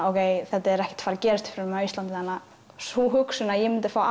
þetta er ekkert að fara að gerast fyrir mig á Íslandi þannig að sú hugsun að ég myndi fá